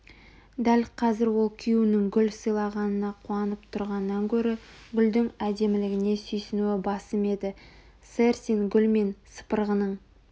дәл қазір ол күйеуінің гүл сыйлағанына қуанып тұрғаннан гөрі гүлдің әдемілігіне сүйсінуі басым еді сэр сен гүл мен сыпырғының